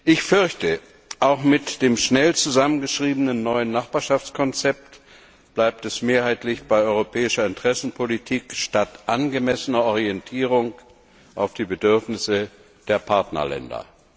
Ich fürchte, auch mit dem schnell zusammengeschriebenen neuen Nachbarschaftskonzept bleibt es mehrheitlich bei europäischer Interessenpolitik statt angemessener Orientierung auf die Bedürfnisse der Partnerländer.